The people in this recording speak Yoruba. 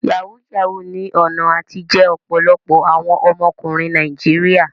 Yahoo yahoo ní ọ̀nà àtijẹ ọ̀pọ̀lọpọ̀ àwọn ọmọkùnrin Nàìjíríà.